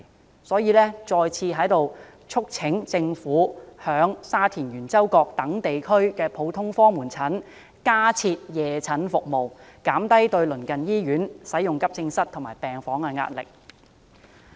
我再次在此促請政府在沙田圓洲角等地區的普通科門診診所加設夜診服務，減低對鄰近醫院使用急症室和病房的壓力。